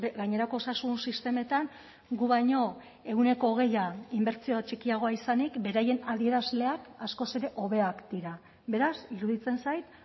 gainerako osasun sistemetan gu baino ehuneko hogeia inbertsio txikiagoa izanik beraien adierazleak askoz ere hobeak dira beraz iruditzen zait